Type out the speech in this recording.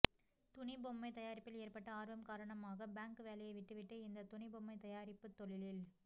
துணி பொம்மை தயாரிப்பில் ஏற்பட்ட ஆர்வம் காரணமாக பாங்க் வேலையை விட்டுவிட்டு இந்த துணி பொம்மை தயாரிப்பு தொழிலில்